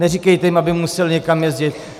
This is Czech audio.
Neříkejte jim, aby museli někam jezdit.